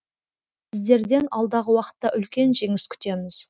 сіздерден алдағы уақытта үлкен жеңіс күтеміз